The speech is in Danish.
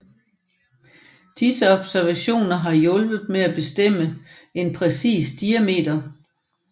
Disse observationer har hjulpet med at bestemme en præcis diameter